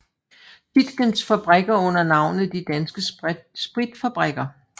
Tietgens fabrikker under navnet De Danske Spritfabrikker